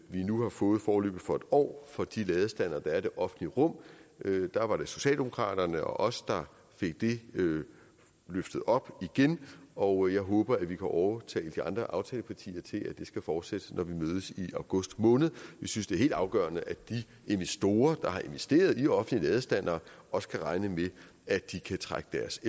vi nu har fået foreløbig for en år for de ladestandere der er i det offentlige rum der var det socialdemokraterne og os der fik det løftet op igen og jeg håber vi kan overtale de andre aftalepartier til at det skal fortsætte når vi mødes i august måned vi synes det er helt afgørende at de investorer der har investeret i offentlige ladestandere også kan regne med at de kan trække deres